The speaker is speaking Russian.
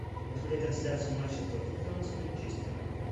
посмотреть трансляцию матча тоттенхэма с манчестером